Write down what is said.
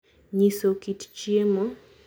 Nyiso kit chiemo